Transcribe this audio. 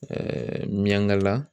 miyaŋala